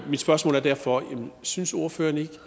spørgsmål er derfor synes ordføreren ikke